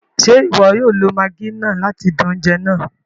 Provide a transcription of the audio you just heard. Ṣe iwọ o lo maggi náà láti dún oúnjẹ náà?